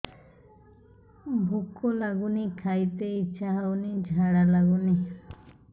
ଭୁକ ଲାଗୁନି ଖାଇତେ ଇଛା ହଉନି ଝାଡ଼ା ଲାଗୁନି